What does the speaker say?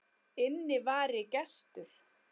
Inn vari gestur